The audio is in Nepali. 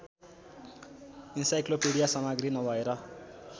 इन्साइक्लोपीडिया सामग्री नभएर